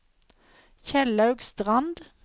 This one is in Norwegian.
Kjellaug Strand